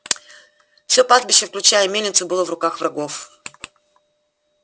все пастбище включая и мельницу было в руках врагов